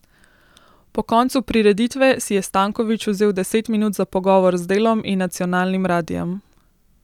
Po koncu prireditve si je Stanković vzel deset minut za pogovor z Delom in nacionalnim radijem.